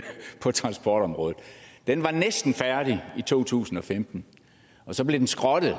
på transportområdet den var næsten færdig i to tusind og femten og så blev den skrottet